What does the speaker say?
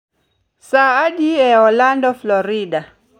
saa adi e orlando florida